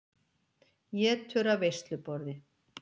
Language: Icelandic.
Étur af veisluborði.